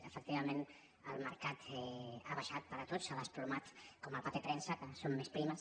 efectivament el mercat ha baixat per a tots s’ha desplomat com el paper premsa que són més primes